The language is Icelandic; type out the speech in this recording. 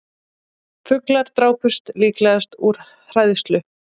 Fuglar drápust líklega úr hræðslu